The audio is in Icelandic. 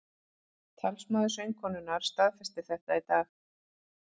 Talsmaður söngkonunnar staðfesti þetta í dag